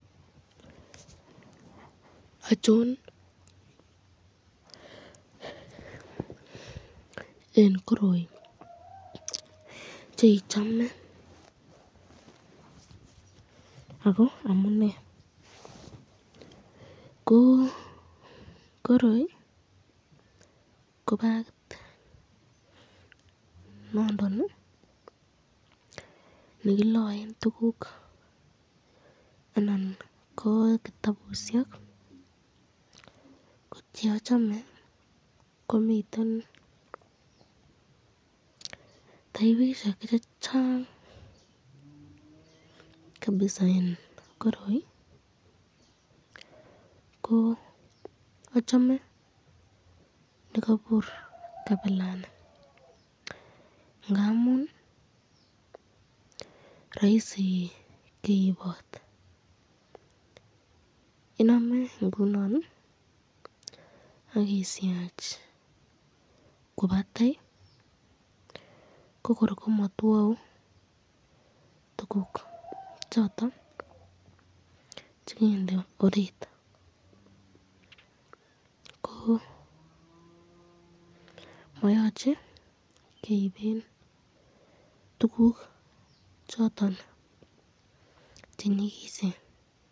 Ochon eng koroi cheichame ,ako amune ko koroi ko bagit nondon nekilaen tukuk anan ko kitabusyek , ko cheachame ko miten taibishek chechang kabisa eng koroi, ko achame nekabur kabilani ,ngamun raisi keibot iname akisyach kwo batai ko kor komateau tukuk choton chekende orit ,ko mayache keribe tukuk choton chenyikisen.